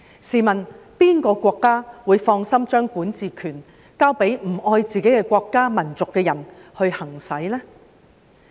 試問哪個國家會放心把管治權交給不愛自己國家和民族的人行使呢？